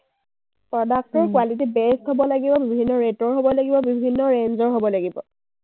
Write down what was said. product টোৰ best হ’ব লাগিব। বিভিন্ন rate ৰ হ’ব লাগিব, বিভিন্ন range ৰ হ’ব লাগিব।